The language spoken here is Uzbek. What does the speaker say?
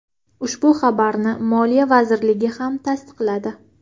Ushbu xabarni Moliya vazirligi ham tasdiqladi .